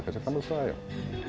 kannski framhaldssaga